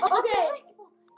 Þeir stóðu sig báðir vel.